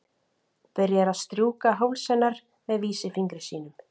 Byrjar að strjúka háls hennar með vísifingri sínum.